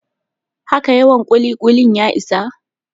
Haka yawan ƙuli-ƙuli ya isa?